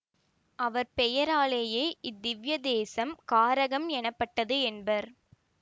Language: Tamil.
அவர் பெயராலேயே இத்திவ்ய தேசம் காரகம் எனப்பட்டது என்பர்